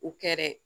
U kɛra